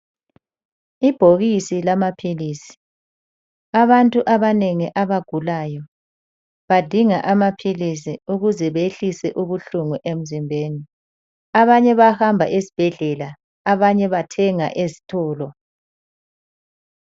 Ibhokisi lamaphilizi, abantu abanengi abagulayo, badinga amaphilizi ukuze behlise ubuhlungu emzimbeni. Abanye bahamba ezibhedlela abanye bathenga ezitolo.